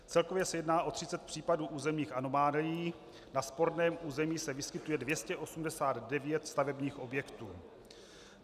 Celkově se jedná o třicet případů územních anomálií, na sporném území se vyskytuje 289 stavebních objektů.